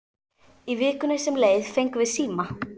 Í vikunni sem leið fengum við síma.